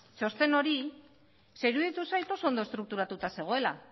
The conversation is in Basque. txosten hori ze iruditu zait oso ondo estrukturatuta zegoela